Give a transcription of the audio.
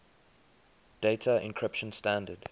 data encryption standard